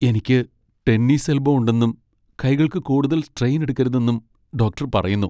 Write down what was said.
എനിക്ക് tennis elbow ഉണ്ടെന്നും കൈകൾക്ക് കൂടുതൽ സ്ട്രെയിൻ എടുക്കരുതെന്നും ഡോക്ടർ പറയുന്നു.